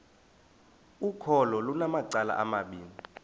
ukholo lunamacala amabini